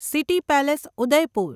city palace Udaipur